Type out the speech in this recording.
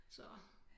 Så